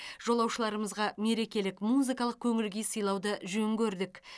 жолаушыларымызға мерекелік музыкалық көңіл күй сыйлауды жөн көрдік